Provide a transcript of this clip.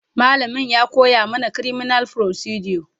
malamain ya ko ya mana criminal procedure